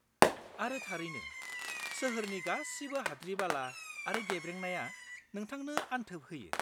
-आरो थारैनो, सोहोरनि गासिबो हाद्रि-बाला आरो गेब्रेंनाया नोंथांनो अनथोब होयो।